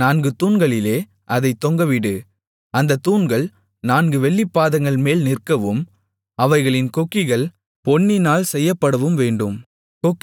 நான்கு தூண்களிலே அதைத் தொங்கவிடு அந்தத் தூண்கள் நான்கு வெள்ளிப் பாதங்கள்மேல் நிற்கவும் அவைகளின் கொக்கிகள் பொன்னினால் செய்யப்படவும் வேண்டும்